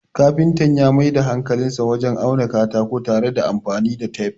kafinta ya Mai da hankalinsa wajen auna katako tare da anfani da tef